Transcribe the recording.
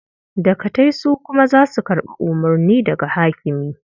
Dagatai su kuma za su karɓi umurni daga hakimi.